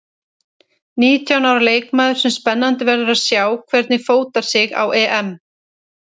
Nítján ára leikmaður sem spennandi verður að sjá hvernig fótar sig á EM.